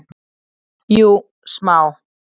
Jú, smá.